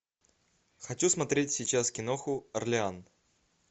хочу смотреть сейчас киноху орлеан